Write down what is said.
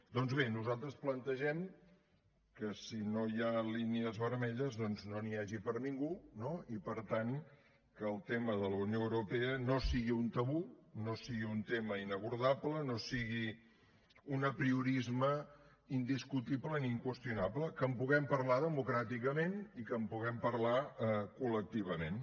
doncs bé nosaltres plantegem que si no hi ha línies vermelles no n’hi hagi per a ningú no i per tant que el tema de la unió europea no sigui un tabú no sigui un tema inabordable no sigui un apriorisme indiscutible ni inqüestionable que en puguem parlar democràticament i que en puguem parlar col·lectivament